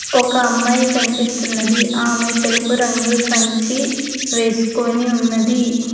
ఒక అమ్మాయి కనిపిస్తున్నది ఆమె తెలుపు రంగు సంచి వేసుకొని ఉన్నది.